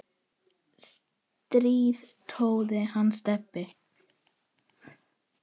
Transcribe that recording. strý tróð hann Stebbi